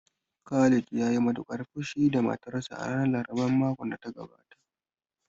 Khalid ya yi matuƙar fushi da matarsa a ranar laraban makon da ya gabata